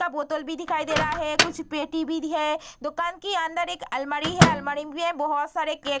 का बोतल भी दिखाई दे रहा है कुछ पेटी भी दी है दुकान के अंदर एक अलमारी है अलमारी में भी है बहुत सारे केक --